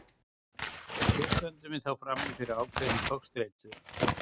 Hér stöndum við því frammi fyrir ákveðinni togstreitu.